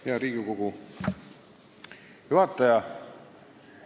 Hea Riigikogu juhataja!